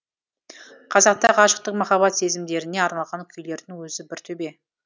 қазақта ғашықтық махаббат сезімдеріне арналған күйлердің өзі бір төбе